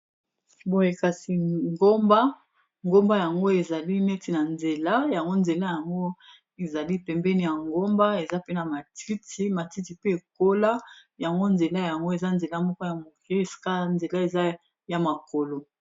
boye kasi ngomba ngomba yango ezali neti na nzela yango nzela yango ezali pembeni ya ngomba eza mpena matiti matiti pe ekola yango nzela yango eza nzela moko ya moke eska nzela eza ya makolo